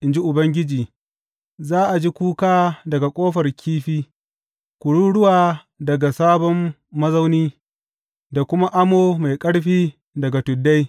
in ji Ubangiji, Za a ji kuka daga Ƙofar Kifi, kururuwa daga Sabon Mazauni, da kuma amo mai ƙarfi daga tuddai.